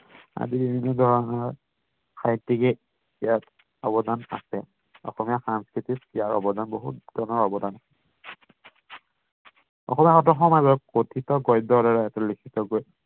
সাহিত্যিকে ইয়াত অৱদান আছে অসমীয়া সাংস্কৃতিত ইয়াৰ অৱদান বহুত জনৰ অৱদান অসমীয়াগত সমাজত কথিত গদ্যৰ দ্বাৰা এটাৰ লিখিত